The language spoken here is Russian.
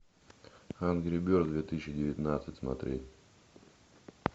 энгри бердс две тысячи девятнадцать смотреть